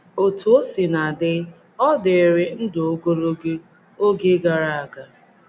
Otú o sina dị, ọ dịrị ndụ ogologo oge gara aga.